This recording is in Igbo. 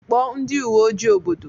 Kpọọ ndị uwe ojii obodo!